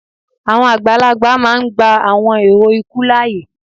awọn agbalagba máà ń gba awọn èrò ikú láàyè